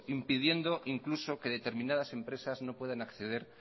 impidiendo incluso que determinadas empresas no puedan acceder